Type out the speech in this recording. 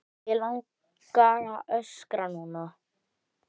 Mig langar að öskra núna.